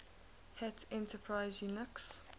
hat enterprise linux